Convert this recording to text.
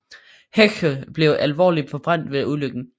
Heche blev alvorligt forbrændt ved ulykken